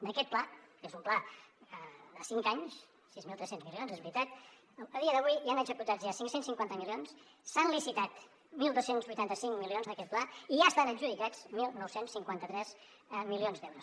d’aquest pla que és un pla de cinc anys sis mil tres cents milions és veritat a dia d’avui hi han executats ja cinc cents i cinquanta milions s’han licitat dotze vuitanta cinc milions d’aquest pla i ja estan adjudicats dinou cinquanta tres milions d’euros